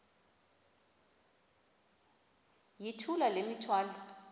yithula le mithwalo